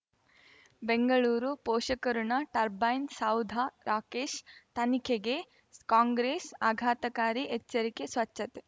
ಬೆಂಗಳೂರು ಪೋಷಕ ಋಣ ಟರ್ಬೈನು ಸೌಧ ರಾಕೇಶ್ ತನಿಖೆಗೆ ಕಾಂಗ್ರೆಸ್ ಆಘಾತಕಾರಿ ಎಚ್ಚರಿಕೆ ಸ್ವಚ್ಛತೆ